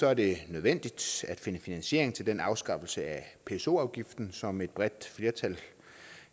er det nødvendigt at finde finansiering til den afskaffelse af pso afgiften som et bredt flertal